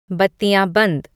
बत्तियाँ बंद